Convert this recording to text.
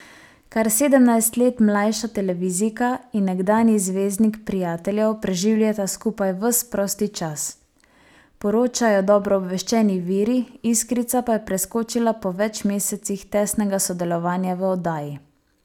Kar sedemnajst let mlajša televizijka in nekdanji zvezdnik Prijateljev preživljata skupaj ves prosti čas, poročajo dobro obveščeni viri, iskrica pa je preskočila po več mesecih tesnega sodelovanja v oddaji.